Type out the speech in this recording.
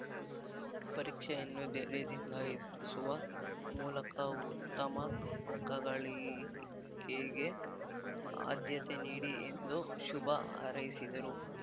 ಪರೀಕ್ಷೆಯನ್ನು ಧೈರ್ಯದಿಂದ ಎದುರಿಸುವ ಮೂಲಕ ಉತ್ತಮ ಅಂಕ ಗಳಿಕೆಗೆ ಆಧ್ಯತೆ ನೀಡಿ ಎಂದು ಶುಭ ಹಾರೈಸಿದರು